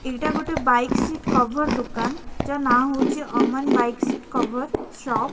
ଏଟା ଗୋଟେ BK seat cover ଦୋକାନ ଯାହାର ନା ହେଉଛି। ଅମନ୍ ବିକେ ସିଟ୍ କଭର୍ ର ସପ୍ ।